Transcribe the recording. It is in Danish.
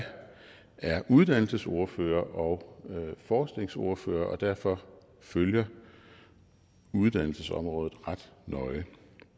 er uddannelsesordfører og forskningsordfører og derfor følger uddannelsesområdet ret nøje